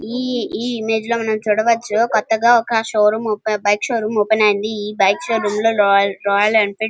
ఈ ఈ ఇమేజ్ లో చూడవచ్చు కొత్తగా ఒక షోరూం బైక్ షోరూం ఓపెన్ అయింది ఈ బైక్ షోరూం లో రాయల్ రాయల్ ఎన్ఫీల్డ్.